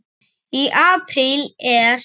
Í apríl er